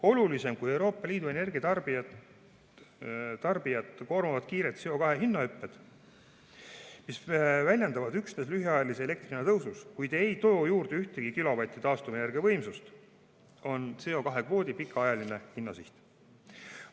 Olulisem kui Euroopa Liidu energiatarbijat koormavad kiired CO2 hinna hüpped, mis väljenduvad üksnes lühiajalises elektri hinna tõusus, kuid ei too juurde ühtegi kilovatti taastuvenergia võimsust, on CO2 kvoodi pikaajaline hinnasiht.